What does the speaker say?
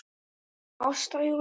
Ásta Júlía.